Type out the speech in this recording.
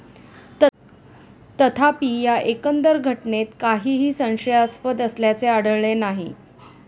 तथापि, या एकंदर घटनेत काहीही संशयास्पद असल्याचे आढळले नाही.